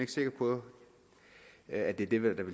at det er de